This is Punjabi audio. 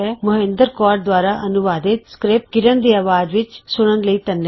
ਮੋਹਿੰਦਰ ਕੌਰ ਦੁਆਰਾ ਅਨੁਵਾਦਿਤ ਸਕ੍ਰਿਪਟ ਕਿਰਣ ਦੀ ਆਵਾਜ਼ ਵਿੱਚ ਸੁਨਣ ਲਈ ਧੰਨਵਾਦ